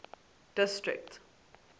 district